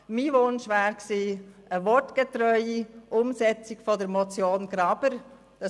Ich hätte mir eine wortgetreue Umsetzung der Motion Graber gewünscht.